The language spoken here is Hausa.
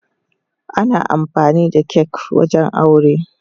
Ana amfani da kak wajen aure.